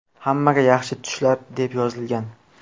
Hammaga yaxshi tushlar”, deb yozilgan.